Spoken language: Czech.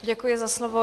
Děkuji za slovo.